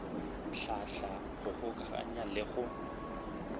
hlahla go kgokaganya le go